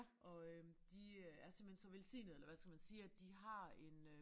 Og øh de er simpelthen så velsignede eller hvad skal man sige at de har en øh